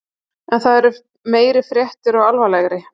En það eru meiri fréttir og alvarlegri.